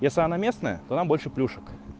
если она местная то нам больше плюшек